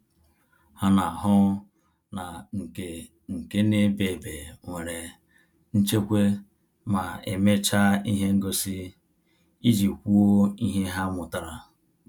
Ha na-ahụ na nke nke na ebe ebe nwere nchekwa ma emecha ihe ngosi, iji kwuo ihe ha mụtara